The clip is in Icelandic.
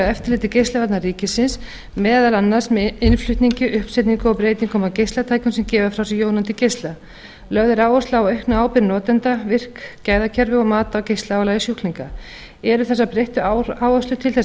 eftirliti geislavarna ríkisins meðal annars með innflutningi uppsetningu og breytingum á geislatækjum sem gefa frá sér jónandi geisla lögð er áhersla á aukna ábyrgð notenda virk gæðakerfi og mat á geislaálagi sjúklinga eru þessar breyttu áherslur til þess